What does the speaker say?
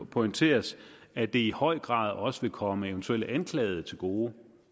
pointeres at det i høj grad også vil komme eventuelle anklagede til gode